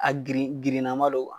A girin girinnama don